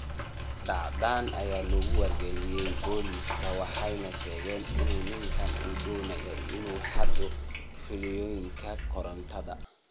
Dhacdadan ayaa lagu wargeliyay booliska, waxayna sheegeen in ninkan uu doonayay inuu xado fiilooyinka korontada.